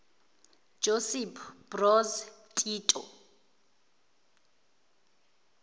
josip broz tito